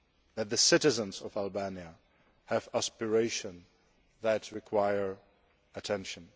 that the citizens of Albania have aspirations that require attention.